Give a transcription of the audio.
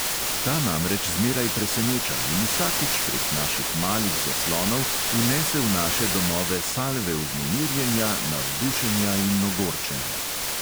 Ta namreč zmeraj preseneča in vsakič prek naših malih zaslonov vnese v naše domove salve vznemirjenja, navdušenja in ogorčenja.